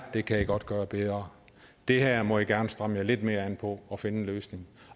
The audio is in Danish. her kan i godt gøre bedre det her må i gerne stramme jer lidt mere an på og finde en løsning